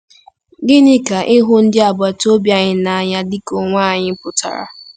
Gịnị ka ịhụ ndị agbata obi anyị n'anya dị ka onwe anyị pụtara?